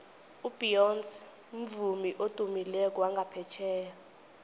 ubeyonce mvumi odumileko wangaphetjheya